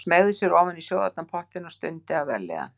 Hann smeygði sér ofan í sjóðheitan pottinn og stundi af vellíðan.